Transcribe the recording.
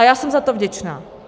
A já jsem za to vděčna.